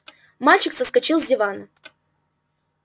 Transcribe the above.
мальчик соскочил с дивана